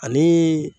Ani